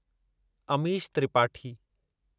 Amish Tripathi